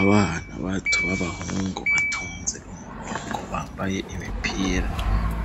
Abana batatu b'abahungu, batonze umurongo, bambaye imipira